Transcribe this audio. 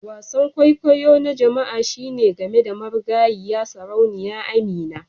Wasan kwaikwayo na jama'a shine game da marigayiya Sarauniya Amina